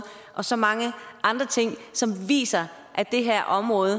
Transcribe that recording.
og så mange andre ting som viser at det her område